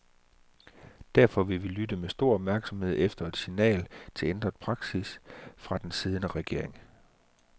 Derfor vil vi lytte med stor opmærksomhed efter et signal til ændret praksis fra den siddende regering.